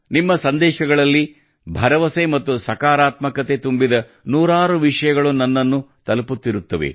ನಿಮ್ಮ ಸಂದೇಶಗಳಲ್ಲಿ ಭರವಸೆ ಮತ್ತು ಸಕಾರಾತ್ಮಕತೆ ತುಂಬಿದ ನೂರಾರು ವಿಷಯಗಳು ನನ್ನನ್ನು ತಲುಪುತ್ತಿರುತ್ತವೆ